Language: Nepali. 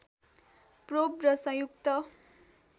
प्रोब र संयुक्त